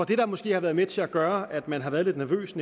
det der måske har været med til at gøre at man har været lidt nervøs